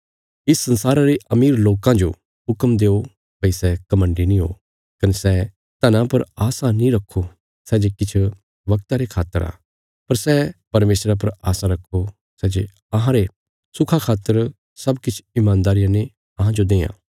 इस संसारा रे अमीर लोकां जो हुक्म देओ भई सै घमण्डी नीं हो कने सै धना पर आशा नीं रखो सै जे किछ वगता रे खातर आ पर सै परमेशरा पर आशा रखो सै जे अहांरे सुखा खातर सब किछ ईमानदारिया ने अहांजो देआं